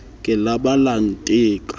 ke la ba la nteka